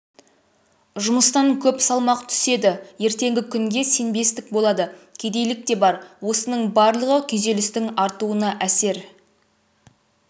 жұмыстан көп салмақ түседі ертеңгі күнге сенбестік болады кедейлік те бар осының барлығы күйзелістің артуына әсер